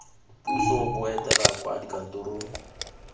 puso bo etela kwa dikantorong